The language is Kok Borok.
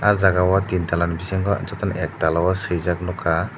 oh jagao tin tala bisingo jotono ek tala o swijak nukha.